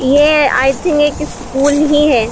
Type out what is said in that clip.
ये I think एक school ही है।